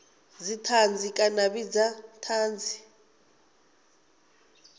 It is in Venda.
dzithanzi kana a vhidza thanzi